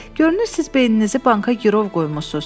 Görünür, siz beyninizi banka girov qoymusunuz.